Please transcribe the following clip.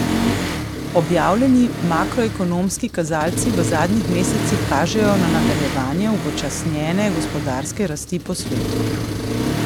Objavljeni makroekonomski kazalci v zadnjih mesecih kažejo na nadaljevanje upočasnjene gospodarske rasti po svetu.